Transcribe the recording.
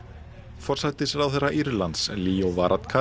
forsætisráðherra Írlands Leo